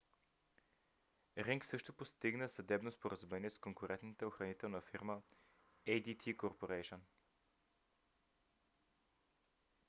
ринг също постигна съдебно споразумение с конкурентната охранителна фирма adt corporation